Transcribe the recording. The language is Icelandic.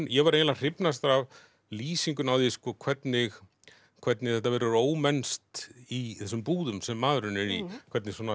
ég var eiginlega hrifnastur af lýsingunni á því hvernig hvernig þetta verður ómennskt í þessum búðum sem maðurinn er í hvernig svona